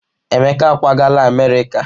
Emeka ákwàgala Amerịka.